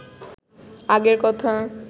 আগের কথা